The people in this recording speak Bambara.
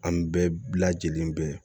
An bɛɛ lajɛlen bɛ